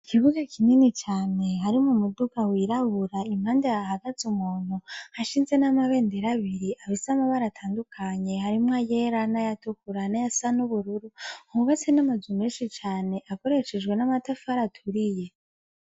Ikibuga kinini cane harimwo umuduga w'irabura impande hahagaze umuntu hashinze n'amabendera abiri afise amabara atandukanye harimwo ayera nayatukura nayasa nubururu hubatse namazu menshi cane akoreshejwe namatafari aturiye.